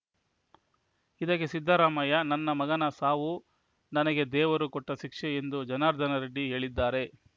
ಇದಕ್ಕೆ ಸಿದ್ದರಾಮಯ್ಯ ನನ್ನ ಮಗನ ಸಾವು ನನಗೆ ದೇವರು ಕೊಟ್ಟ ಶಿಕ್ಷೆ ಎಂದು ಜನಾರ್ದನರೆಡ್ಡಿ ಹೇಳಿದ್ದಾರೆ